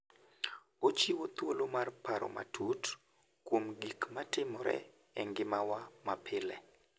Ochiwo thuolo mar paro matut kuom gik matimore e ngimawa mapile.